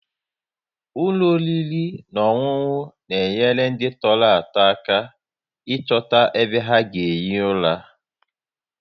Ụlọ oriri na ọṅụṅụ na-enyere ndị tọrọ atọ aka ịchọta ebe ha ga-ehi ụra